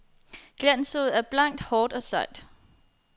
Glanssod er blankt, hårdt og sejt.